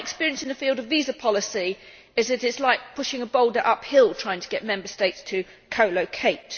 My experience in the field of visa policy is that it is like pushing a boulder uphill trying to get Member States to co locate.